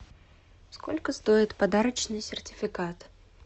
сколько стоит подарочный сертификат